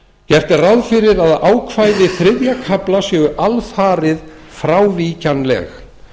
gert er ráð fyrir að ákvæði þriðja kafla séu alfarið frávíkjanleg